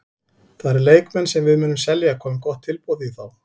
Það eru leikmenn sem við munum selja komi gott tilboð í þá.